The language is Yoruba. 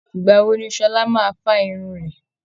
ìgbà wo ni Sọlá máa fa irun rẹ̀